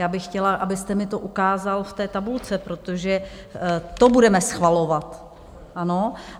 Já bych chtěla, abyste mi to ukázal v té tabulce, protože to budeme schvalovat, ano?